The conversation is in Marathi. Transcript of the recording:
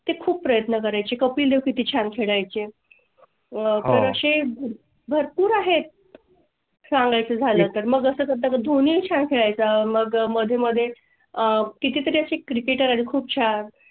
खूप प्रयत्न करायची. कपिलदेव किती छान खेळायचे आहे असे भरपूर आहेत. सांगायचं झालं तर मग असं धोनी चा खेळ चा मग मध्ये मध्ये आह किती तरी अशी Cricket खूप छान